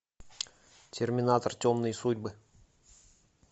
терминатор темные судьбы